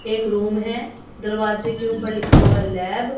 एक रूम है दरवाजे के ऊपर लिखा हुआ है लैब ।